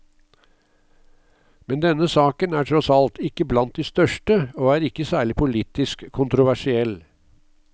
Men denne saken er tross alt ikke blant de største og er ikke særlig politisk kontroversiell.